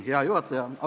Hea juhataja!